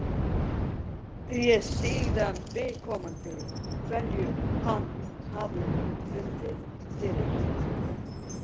Spyrjið síðan viðkomandi hverju hann hafi fundið fyrir.